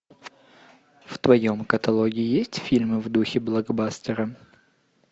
в твоем каталоге есть фильмы в духе блокбастера